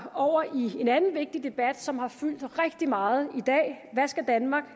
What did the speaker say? over i en anden vigtig debat som har fyldt rigtig meget i dag hvad skal danmark